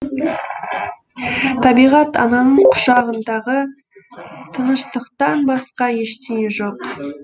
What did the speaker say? табиғат ананың құшағындағы тыныштықтан басқа ештеңе жоқ